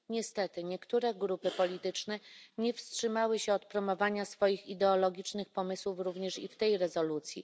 Niestety niektóre grupy polityczne nie powstrzymały się od promowania swoich ideologicznych pomysłów również i w tej rezolucji.